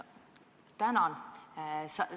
Tänan!